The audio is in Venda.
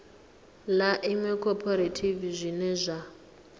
ḽa iṅwe khophorethivi zwine zwa